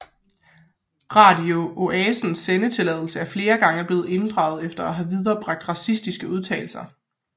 Radio Oasens sendetilladelse er flere gange blevet inddraget efter at have viderebragt racistiske udtalelser